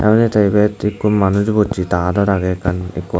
aro ete ibat ekko manuj bocche ta adot age ekkan ekko.